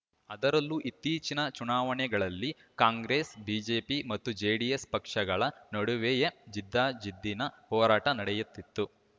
ಅದರಲ್ಲೂ ಇತ್ತೀಚಿನ ಚುನಾವಣೆಗಳಲ್ಲಿ ಕಾಂಗ್ರೆಸ್‌ ಬಿಜೆಪಿ ಮತ್ತು ಜೆಡಿಎಸ್‌ ಪಕ್ಷಗಳ ನಡುವೆಯೇ ಜಿದ್ದಾಜಿದ್ದಿನ ಹೋರಾಟ ನಡೆಯುತ್ತಿತ್ತು